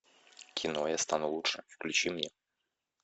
кино я стану лучше включи мне